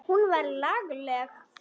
Hún var lagleg.